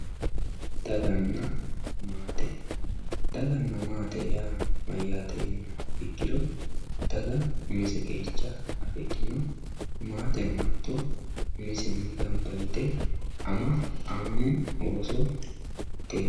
daganna maate daganna maate yaa mayyate yiniha ikkiro daga umise qeecha afidhino maateno maateno hatto umisenni gamba yite ama annu ooso mitteenni..